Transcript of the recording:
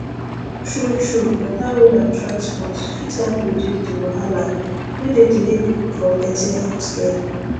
truetrue better road and transport fit help reduce the wahala wey dey delay people from getting health care